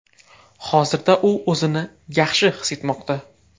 Hozirda u o‘zini yaxshi his etmoqda.